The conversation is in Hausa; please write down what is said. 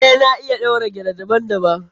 Eh, na iya ɗaura gele daban- daban.